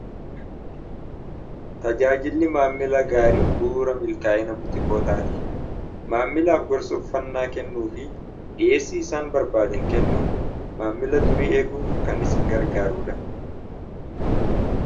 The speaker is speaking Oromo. Tajaajilli maammila gaariin bu'uura milkaa'ina butikootaati. Maamilaaf gorsa uffannaa kennuu fi geessii isaan barbaaden kennuun maammila durii eeguuf kan isin gargaaruudha.